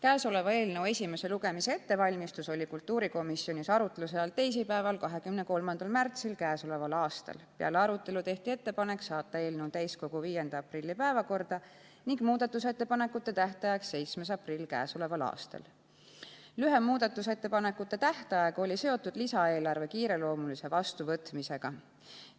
Eelnõu esimese lugemise ettevalmistus oli kultuurikomisjonis arutlusel teisipäeval, 23. märtsil k.a. Peale arutelu tehti ettepanek saata eelnõu täiskogu 5. aprilli päevakorda ning muudatusettepanekute tähtajaks määrati 7. aprill k.a. Lühem muudatusettepanekute tähtaeg oli seotud lisaeelarve kiireloomulise vastuvõtmisega.